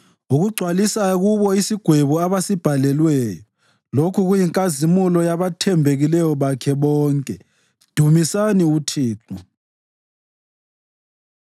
ukugcwalisa kubo isigwebo abasibhalelwayo. Lokhu kuyinkazimulo yabathembekileyo bakhe bonke. Dumisani uThixo.